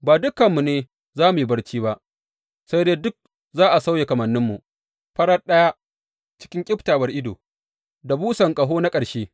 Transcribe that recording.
Ba dukanmu ne za mu yi barci ba, sai dai duk za a sauya kamanninmu farat ɗaya, cikin ƙyaftawar ido, da busan ƙaho na ƙarshe.